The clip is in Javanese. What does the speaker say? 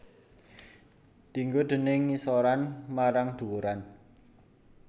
Dienggo déning ngisoran marang dhuwuran